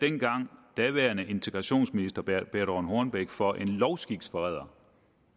engang daværende integrationsminister birthe rønn hornbech for en lovskiksforræder